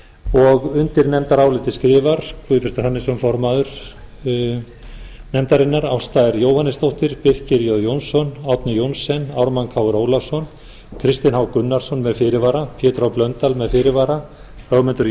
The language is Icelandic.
og undir nefndarálitið skrifa guðbjartur hannesson formaður nefndarinnar ásta r jóhannesdóttir birkir jón jónsson árni johnsen ármann krónu ólafsson kristinn h gunnarsson með fyrirvara pétur h blöndal með fyrirvara ögmundur